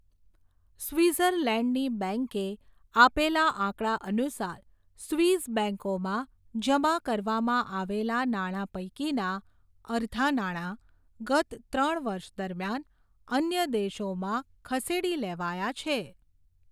સ્વિઝરલેન્ડની બેંકે આપેલા આંકડા અનુસાર, સ્વિસ બેંકોમાં, જમા કરવામાં આવેલા નાણા પૈકીના, અર્ધા નાણા, ગત ત્રણ વર્ષ દરમ્યાન, અન્ય દેશોમાં ખસેડી લેવાયા છે.